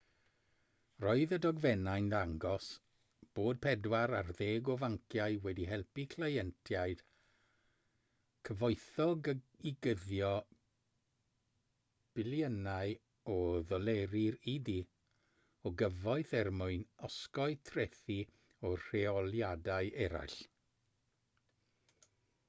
roedd y dogfennau'n dangos bod pedwar ar ddeg o fanciau wedi helpu cleientiaid cyfoethog i guddio biliynau o ddoleri'r u.d. o gyfoeth er mwyn osgoi trethi a rheoliadau eraill